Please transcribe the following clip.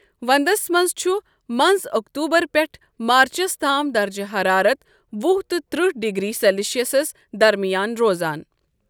وَنٛدَس مَنٛز چُھ مَنٛز أکتوبَر پٮ۪ٹھہٕ مارٕچس تام دَرجہِ حَرارَت وُہ تہٕ ترٛہ ڈگریٖی سیٚلشِیٮ۪سَس دَرمِیان روزان۔